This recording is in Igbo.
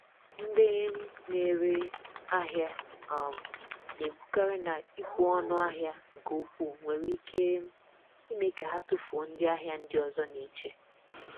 Ndị um na-ere ahịa um na-ekwukarị na ịkwụ ọnụ ahịa nke ukwuu nwere ike um ime ka ha tufuo ndị ahịa ndị ọzọ na-eche.